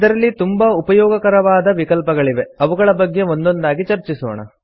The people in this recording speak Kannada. ಇದರಲ್ಲಿ ತುಂಬಾ ಉಪಯೋಗಕರವಾದ ವಿಕಲ್ಪಗಳಿವೆ ಅವುಗಳ ಬಗ್ಗೆ ಒಂದೊಂದಾಗಿ ಚರ್ಚಿಸೋಣ